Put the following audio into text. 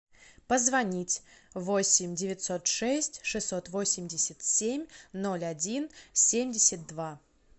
позвонить восемь девятьсот шесть шестьсот восемьдесят семь ноль один семьдесят два